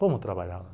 Como eu trabalhava